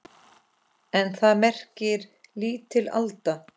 En það merkir lítil alda.